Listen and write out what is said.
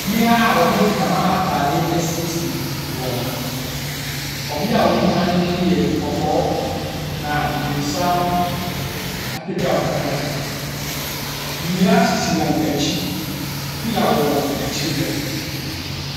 Mmea a wɔde ntama atade asiesie wɔn ho. Ɔbea a ɔdi kan no de no yɛ kɔkɔɔ, na ne nsa no apagyaw kakra. Nnua sisi wɔn akyi. Pillar wɔ wɔn akyi hɔ.